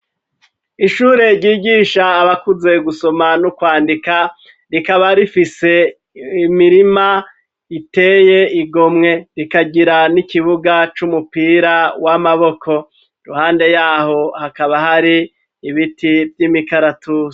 Ishure ryigisha abakuze gusoma n'ukwandika rikaba rifise imirima iteye igomwe rikagira n'ikibuga c'umupira w'amaboko ruhande yaho hakaba hari ibiti vy'imikaratusi.